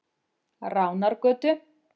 Ránargötu